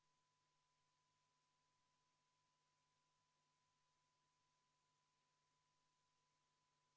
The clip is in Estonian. Panen hääletusele Eesti Konservatiivse Rahvaerakonna fraktsiooni ettepaneku katkestada Vabariigi Valitsuse algatatud atmosfääriõhu kaitse seaduse ja riigilõivuseaduse muutmise seaduse eelnõu teine lugemine.